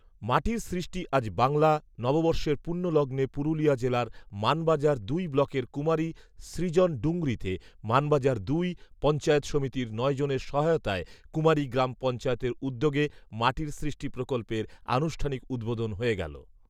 মাটির সৃষ্টি আজ বাংলা নববর্ষের পূণ্য লগ্নে পুরুলিয়া জেলার মানবাজার দুই ব্লকের কুমারী সৃজন ডুংরিতে মানবাজার দুই পঞ্চায়েত সমিতির নয় জনের সহায়তায় কুমারী গ্রাম পঞ্চায়েতের উদ্যোগে মাটির সৃষ্টি প্রকল্পের আনুষ্ঠানিক উদ্বোধন হয়ে গেল